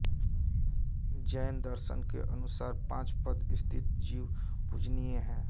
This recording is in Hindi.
जैन दर्शन के अनुसार पाँच पद स्थित जीव पूजनिय हैं